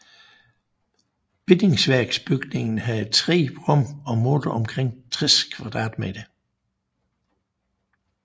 Bindingsværksbygningen havde tre rum og målte omkring 60 m²